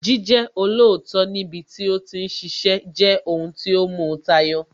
Jíjẹ́ olóòótọ́ níbi tí ó ti ń ṣiṣẹ́ jẹ́ ohun tí ó mu tayọ